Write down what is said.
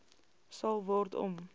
sal word om